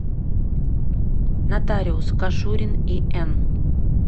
нотариус кашурин ин